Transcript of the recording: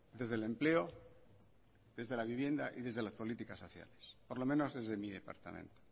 desde el empleo desde la vivienda y desde las políticas sociales por lo menos desde mi departamento